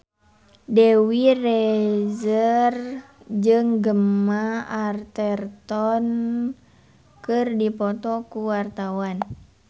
Dewi Rezer jeung Gemma Arterton keur dipoto ku wartawan